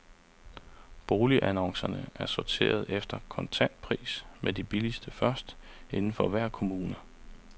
Boligannoncerne er sorteret efter kontantpris, med de billigste først, inden for hver kommune.